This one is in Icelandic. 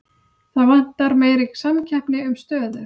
Það vantar meiri samkeppni um stöður